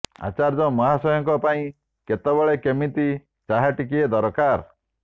ଆଚାର୍ଯ୍ୟ ମହାଶୟଙ୍କ ପାଇଁ କେତେବେଳେ କେମିତି ଚାହା ଟିକିଏ ଦରକାର